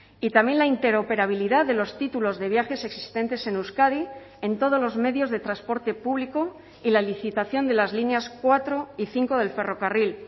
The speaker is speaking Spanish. y también la interoperabilidad de los títulos de viajes existentes en euskadi en todos los medios de transporte público y la licitación de las líneas cuatro y cinco del ferrocarril